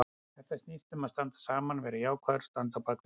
Þetta snýst um að standa saman, vera jákvæður og standa á bakvið liðið.